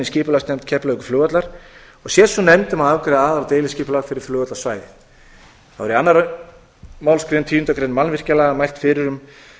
skipulagsnefnd keflavíkurflugvallar og sér sú nefnd um að afgreiða aðal og deiliskipulag fyrir flugvallarsvæðið þá er í annarri málsgrein tíundu greinar mannvirkjalaga mælt fyrir um